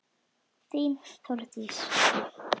Þín, Þórdís.